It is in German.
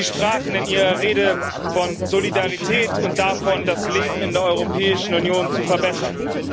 Sie sprachen in Ihrer Rede von Solidarität und davon, das Leben in der Europäischen Union zu verbessern.